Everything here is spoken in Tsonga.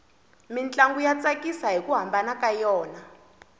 mintlangu ya tsakisa hiku hambana ka yona